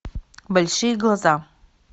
большие глаза